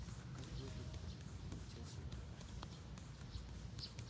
а как выглядит-то обратился андрей к артёму